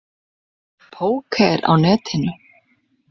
Póker á Netinu.